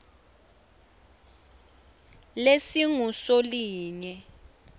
lesingusolinye